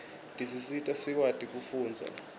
tisita sikwati kufundza